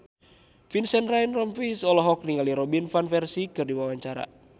Vincent Ryan Rompies olohok ningali Robin Van Persie keur diwawancara